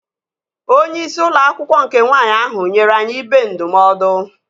Onyeisi ụlọ akwụkwọ nke nwaanyị ahụ nyere anyị ibe ndụmọdụ